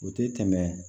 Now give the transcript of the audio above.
O tɛ tɛmɛ